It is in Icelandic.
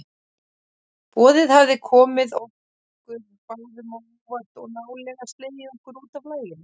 Boðið hafði komið okkur báðum á óvart og nálega slegið okkur útaf laginu.